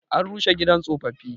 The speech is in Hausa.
An rushe gidan tsofaffi.